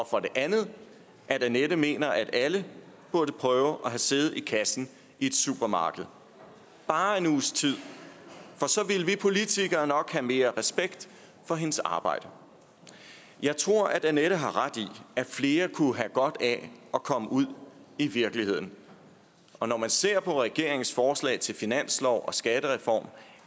for det andet at annette mener at alle burde prøve at sidde ved kassen i supermarkedet bare en uges tid for så ville vi politikere nok have mere respekt for hendes arbejde jeg tror at annette har ret i at flere kunne have godt af at komme ud i virkeligheden og når man ser på regeringens forslag til finanslov og skattereform